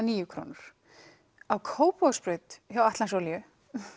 níu krónur á Kópavogsbraut hjá Atlantsolíu